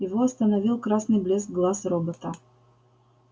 его остановил красный блеск глаз робота